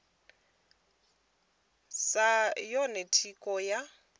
ḽaho sa yone thikho ya